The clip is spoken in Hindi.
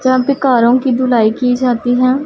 जहाँ पे कारों की धुलाई की जाती है।